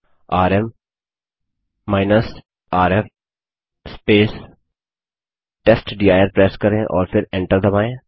RM rf test dir press करें और फिर एन्टर दबायें